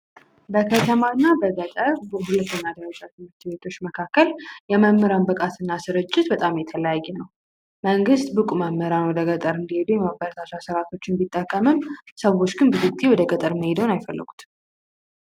በከተማ እና በገጠር ትምህርት ቤቶች መካከል የመምህራን ብቃት የተለያየ ነው። መንግስት ብቁ መምህራን ወደ ገጠር እንዲሄዱ የማበረታቻ ስራ ስርዓቶችን ቢጠቀምም ሰዎች ግን ብዙውን ጊዜ ገጠር መሄዱን አይፈልጉትም።